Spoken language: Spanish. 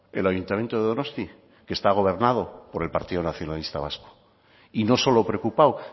el ayuntamiento de donosti que está gobernado por el partido nacionalista vasco y no solo preocupado